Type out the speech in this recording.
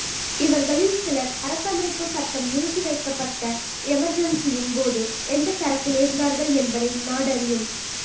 இவர்களில் சிலர் அரசமைப்புச் சட்டம் நிறுத்தி வைக்கப்பட்ட எமர்ஜென்சியின் போது எந்தத் தரப்பில் இருந்தார்கள் என்பதை நாடறியும்